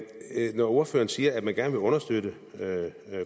når ordføreren siger at man gerne vil understøtte